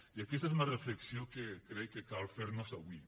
i aquesta és una reflexió que crec que cal fer nos avui